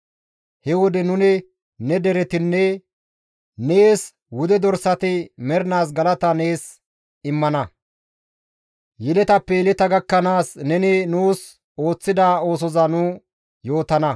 He wode nuni ne deretinne nees wude dorsati mernaas galata nees immana; yeletappe yeleta gakkanaas neni nuus ooththida oosoza nu yootana.